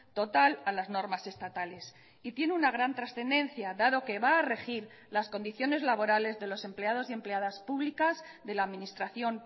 total a las normas estatales y tiene una gran trascendencia dado que va a regir las condiciones laborales de los empleados y empleadas públicas de la administración